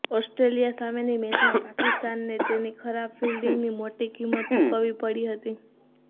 Australia સામેની મૅચમાં પાકિસ્તાનને તેની ખરાબ ફિલ્ડિંગની મોટી કિંમત ચૂકવવી પડી હતી